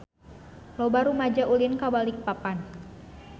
Loba rumaja ulin ka Balikpapan